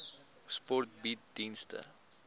sport bied dienste